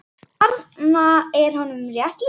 Þarna er honum rétt lýst.